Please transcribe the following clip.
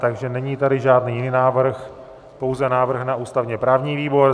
Takže není tady žádný jiný návrh, pouze návrh na ústavně-právní výbor.